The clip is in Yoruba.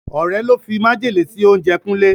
Ọ̀rẹ́ ló fi májèlé sí oúnjẹ Kúnlé.